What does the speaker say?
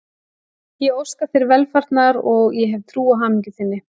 Ég óska þér velfarnaðar og ég hef trú á hamingju þinni.